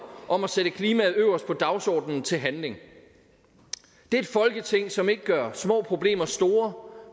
om at sætte klimaet øverst på dagsordenen bliver til handling det er et folketing som ikke gør små problemer store